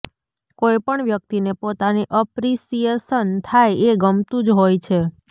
કોઈ પણ વ્યક્તિને પોતાની અપ્રીસિએશન થાય એ ગમતું જ હોય છે